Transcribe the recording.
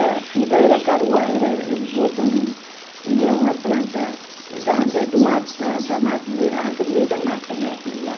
A fibra era caruá, era eles botam, ele é uma planta da, eh do mato, da da, da mata arranca no meio da mata, né, aquilo lá.